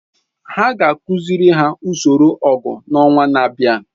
Ha ga-akụziri ha usoro ọgụ n’ọnwa na-abịa.